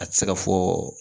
A tɛ se ka fɔ